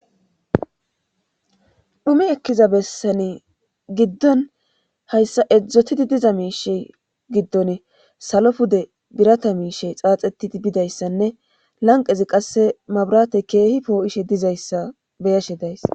Hume ekkiza bessani giddon hayssa edzdzotidi diza miishe giddon salo pude birata miishe xaaxetidi bidayssanne lanqezi qasse mabrate keehi poo'ishe dizayssa beyashe dayss.